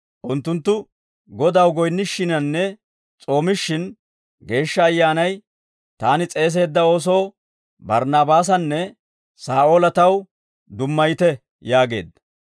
Unttunttu Godaw goyinnishshinanne s'oomishshin, Geeshsha Ayyaanay, «Taani s'eeseedda oosoo Barnnaabaasanne Saa'oola taw dummayite» yaageedda.